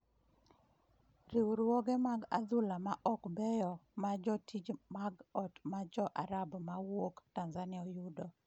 Riwruoge mag adhula ma ok beyo ma jotich mag ot ma jo-Arab ma wuok Tanzania yudo